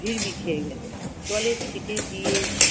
ভিরমি খেয়ে গেলেন। জলের ছিটে দিয়ে